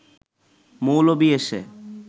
মৌলবি এসে